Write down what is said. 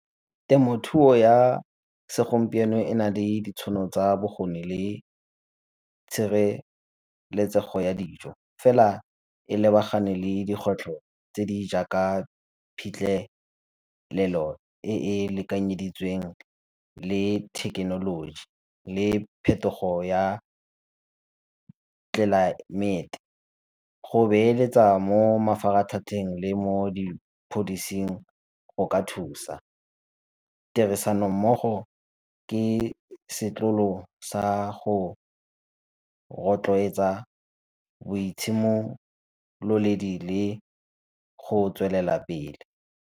Temothuo ya segompieno e na le ditšhono tsa bokgoni le tshireletsego ya dijo, fela e lebagane le dikgwetlho tse di jaaka phitlhelelo e e lekanyeditsweng le thekenoloji le phetogo ya tlelaemete. Go beeletsa mo mafaratlhatlheng le mo dipholising go ka thusa. Tirisano mmogo ke sa go rotloetsa boitshimoledi go tswelela pele.